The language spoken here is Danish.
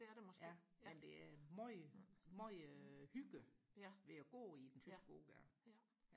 ja jamen det er meget meget hygge ved og gå i den tyske gågade